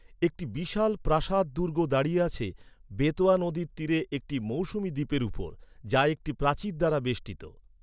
একটি বিশাল প্রাসাদ দুর্গ দাঁড়িয়ে আছে বেতোয়া নদীর তীরে একটি মৌসুমী দ্বীপের উপর, যা একটি প্রাচীর দ্বারা বেষ্টিত।